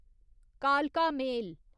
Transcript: कालका मेल